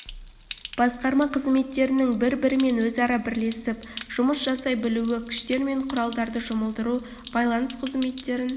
басқарма қызметтерінің бір бірімен өзара бірлесіп жұмыс жасай білуі күштер мен құралдарды жұмылдыру байланыс қызметтерін